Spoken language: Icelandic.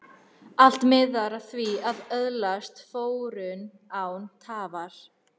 Allt miðar að því að öðlast fróun, án tafar.